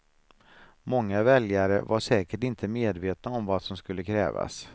Många väljare var säkert inte medvetna om vad som skulle krävas.